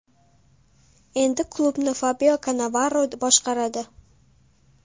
Endi klubni Fabio Kannavaro boshqaradi.